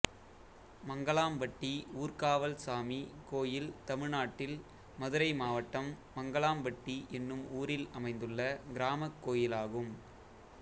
மங்களாம்பட்டி ஊர்காவல் சாமி கோயில் தமிழ்நாட்டில் மதுரை மாவட்டம் மங்களாம்பட்டி என்னும் ஊரில் அமைந்துள்ள கிராமக் கோயிலாகும்